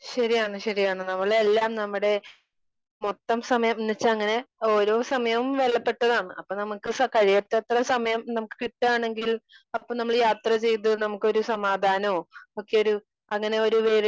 Speaker 2 ശെരിയാണ് ശെരിയാണ്. നമ്മളെല്ലാം നമ്മുടെ മൊത്തം സമയന്ന് വെച്ചാ അങ്ങനെ ഓരോ സമയവും വിലപ്പെട്ടതാണ്. അപ്പൊ നമുക്ക് കഴിയത്തത്രെ സമയം നമുക്ക് കിട്ടാണെങ്കിൽ. അപ്പൊ നമ്മള് യാത്ര ചെയ്ത് നമുക്കൊരു സമാധാനോം ഒക്കെയൊരു അങ്ങനെ ഒരു